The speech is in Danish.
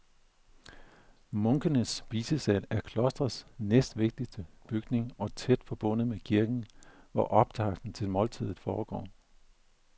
Munkenes spisesal er klostrets næstvigtigste bygning og tæt forbundet med kirken, hvor optakten til måltidet foregår.